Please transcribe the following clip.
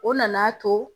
O nana to